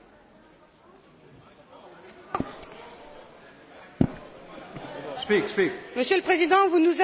Monsieur le Président, vous nous avez invités, pour le paragraphe 16, à voter pour le texte original.